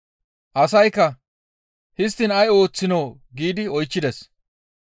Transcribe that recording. Asaykka, «Histtiin ay ooththinoo?» giidi oychchides.